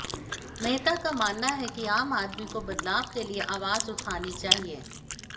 मेहता का मानना है कि आम आदमी को बदलाव के लिए आवाज उठानी चाहिए